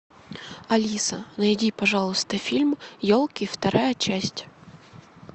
алиса найди пожалуйста фильм елки вторая часть